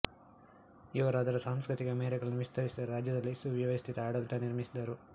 ಇವರು ಅದರ ಸಾಂಸ್ಕೃತಿಕ ಮೇರೆಗಳನ್ನು ವಿಸ್ತರಿಸಿದರು ರಾಜ್ಯದಲ್ಲಿ ಸುವ್ಯವಸ್ಥಿತ ಆಡಳಿತ ನಿರ್ಮಿಸಿದರು